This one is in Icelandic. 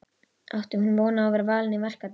Átti hún von á að vera valin í verkefnið?